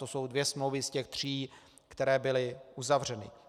To jsou dvě smlouvy z těch tří, které byly uzavřeny.